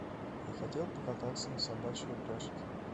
я хотел покататься на собачьей упряжке